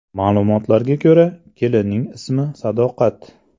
Ma’lumotlarga ko‘ra, kelinning ismi Sadoqat.